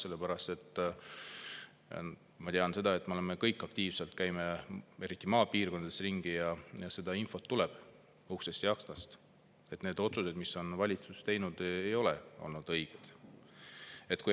Sellepärast, et – ma tean seda – me oleme kõik aktiivsed, käime eriti maapiirkondades ringi ja seda infot tuleb uksest ja aknast, et need otsused, mis valitsus on teinud, ei ole olnud õiged.